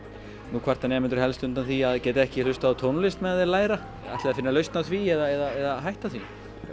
nú kvarta nemendur helst undan því að geta ekki hlustað á tónlist á meðan þeir læra ætlið þið að finna lausn á því eða hætta því